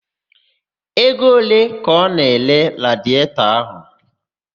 Ego ole ka ọ na-ere radietọ ọhụụ?